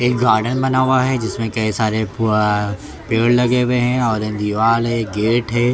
एक गार्डन बना हुआ हैं जिसमें कई सारे पेड़ लगे हुए हैं और दीवाल हैं गेट हैं ।